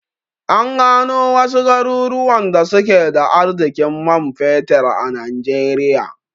An gano wasu garuruwan da suke da arzikin man fetir a najeriya